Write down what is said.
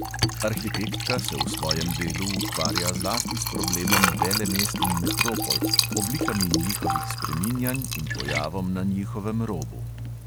Arhitektka se v svojem delu ukvarja zlasti s problemom velemest in metropol, oblikami njihovih spreminjanj in pojavom na njihovem robu.